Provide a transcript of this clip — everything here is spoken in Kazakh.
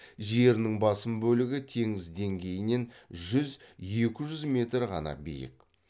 жерінің басым бөлігі теңіз деңгейінен жүз екі жүз метр ғана биік